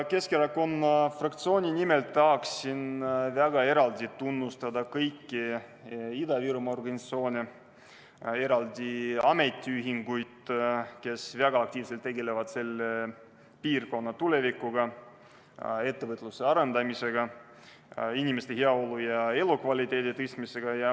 Keskerakonna fraktsiooni nimel tahan eraldi väga tunnustada kõiki Ida-Virumaa organisatsioone, sh ka ametiühinguid, kes väga aktiivselt tegelevad selle piirkonna tulevikuga, ettevõtluse arendamisega, inimeste heaolu ja elukvaliteedi tõstmisega.